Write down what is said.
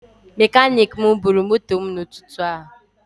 Mekanik m bụrụ moto mụ na ụtụtụ a